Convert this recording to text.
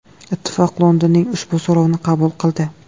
Ittifoq Londonning ushbu so‘rovini qabul qildi.